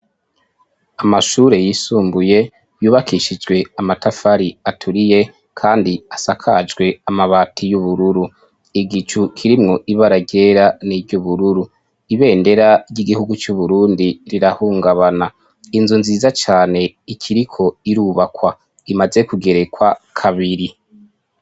Amashure yisumbuye yubakishijwe amatafari aturiye kandi asakajwe amabati y'ubururu, igicu kirimwo ibara ryera n'iry'ubururu, ibendera ry'igihugu c'Uburundi rirahungabana, inzu nziza cane ikiriko irubakwa imaze kugerekwa kabiri.